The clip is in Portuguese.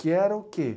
Que era o quê?